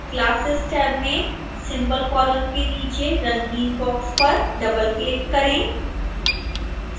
classes tab में symbol column के नीचे रंगीन बॉक्स पर डबलक्लिक करें